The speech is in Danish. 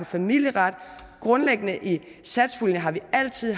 familieret grundlæggende i satspuljen har vi altid